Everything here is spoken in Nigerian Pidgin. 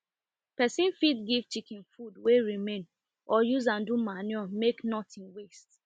person fit give chicken food wey remain or use am do manure make nothing waste